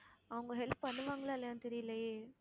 அவங்க help பண்ணுவாங்களா இல்லையான்னு தெரியலையே